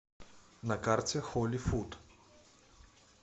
на карте холи фуд